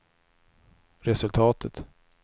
resultatet